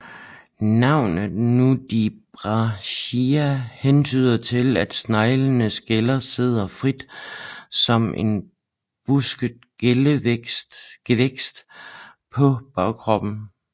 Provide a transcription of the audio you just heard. Navnet nudibranchia hentyder til at sneglenes gæller sidder frit som en busket gevækst på bagkroppen